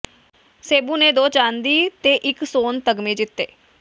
ਸੇਬੂ ਨੇ ਦੋ ਚਾਂਦੀ ਤੇ ਇਕ ਸੋਨ ਤਗ਼ਮੇ ਜਿੱਤੇ